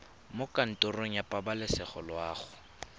mo kantorong ya pabalesego loago